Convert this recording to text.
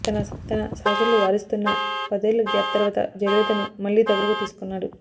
తన సహచరులు వారిస్తున్నా పదేళ్ల గ్యాప్ తర్వాత జయలలితను మళ్లీ దగ్గరకు తీసుకున్నాడు